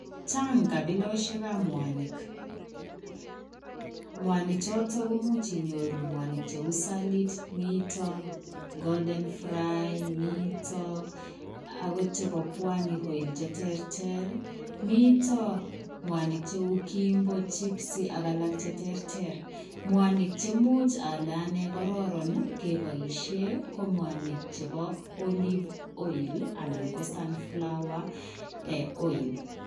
Chaang kabilosiek ab mwanig, mwanig chitoo komuuch inyoruu mwanig che uu [saliit , golden fry ] miten akoot chebo pwani oil che terter mitaa mwanig che uu [kimbo, chipsy] ak alaak che terter, mwanig cheimuuch ale anee kebaisheen ko mwanig chebo olive oil anan ko sunflower oil .